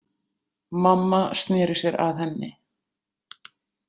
Mamma sneri sér að henni.